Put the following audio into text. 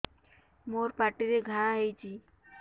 ମୋର ପାଟିରେ ଘା ହେଇଚି